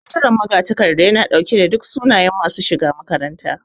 Sakataren magatakarda yana ɗauke da duk sunayen masu shiga makarantar